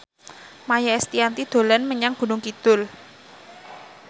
Maia Estianty dolan menyang Gunung Kidul